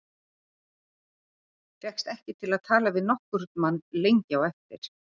Fékkst ekki til að tala við nokkurn mann lengi á eftir.